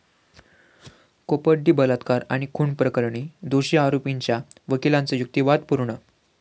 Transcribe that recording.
कोपर्डी बलात्कार आणि खून प्रकरणी दोषी आरोपींच्या वकिलांचा युक्तिवाद पूर्ण